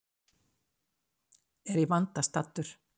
Er í vanda staddur.